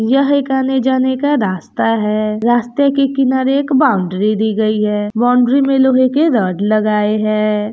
यह एक आने-जाने का रास्ता है रास्ते के किनारे एक बाउंड्री दी गई है बाउंड्री में लोहे के रड लगाए है।